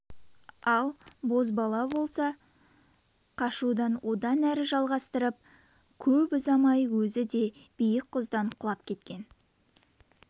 жастағы бозбала болса қашуын одан әрі жалғастырып көп ұзамай өзі де биік құздан құлап кеткен